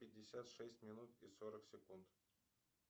пятьдесят шесть минут и сорок секунд